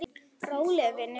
Rólegur vinur!